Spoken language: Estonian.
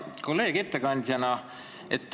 Hea kolleeg ettekandjana!